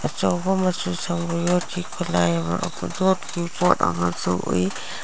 ꯑꯆꯧꯕ ꯃꯆꯨ ꯁꯡꯕ ꯌꯣꯠꯀꯤ ꯈꯨꯠꯂꯥꯢ ꯑꯃ ꯌꯦꯠꯀꯤ ꯄꯣꯠ ꯑꯃꯁꯨ ꯎꯩ ꯫